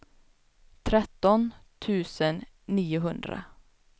tretton tusen niohundra